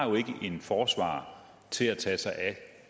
en forsvarer til at tage sig